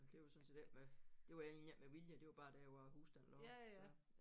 Det var sådan set ikke med det var egentlig ikke med vilje det var bare der hvor æ hus den lå så